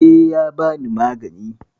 E, ya bani magani.